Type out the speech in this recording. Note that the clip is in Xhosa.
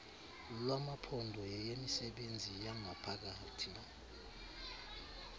lwamaphondo yeyemisebenzi yangaphakathi